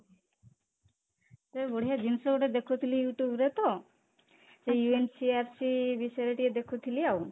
ସେ ବଢିଆ ଜିନିଷ ଗୋଟେ ଦେଖୁଥିଲି you tube ରେ ତ ସେ UNCRC ବିଷୟରେ ଟିକେ ଦେଖୁଥିଲି ଆଉ